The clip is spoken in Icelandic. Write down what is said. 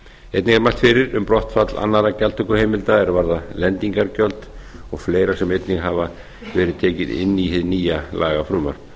einnig er mælt fyrir um brottfall annarra gjaldtökuheimilda er varða lendingargjöld og fleira sem einnig hefur verið tekið inn í hið nýja lagafrumvarp